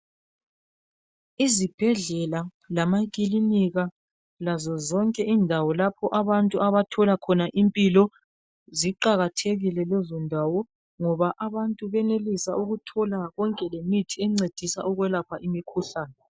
Izibhedlela lamakilinika lazo zonke indawo lapho abantu abathola khona impilo ziqakathekile lezondawo ngoba abantu benelisa ukuthola konke lemithi encedisa ukwelapha imikhuhlane.